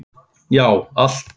Já, allt.